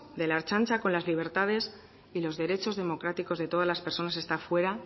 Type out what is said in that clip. de la ertzantza con las libertades y los derechos democráticos de todas las personas está fuera